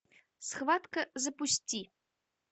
схватка запусти